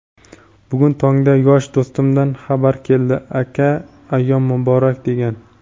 Bugun tongda yosh do‘stimdan xabar keldi "Aka ayyom muborak" degan.